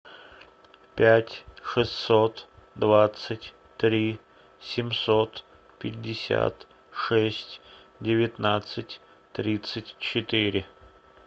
пять шестьсот двадцать три семьсот пятьдесят шесть девятнадцать тридцать четыре